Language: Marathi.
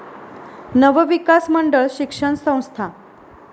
नवविकास मंडळ शिक्षण संस्था